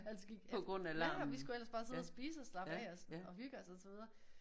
Altså gik efter ja og vi skulle ellers bare sidde og spise og slappe af sådan og hygge os og så videre